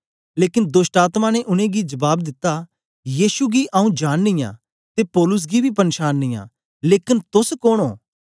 लेकन दोष्टआत्मा ने उनेंगी जबाब दिता यीशु गी आंऊँ जाननी आं ते पौलुस गी बी पन्छाननी आं लेकन तोस कोन ओ